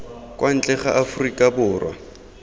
kwa ntle ga aforika borwa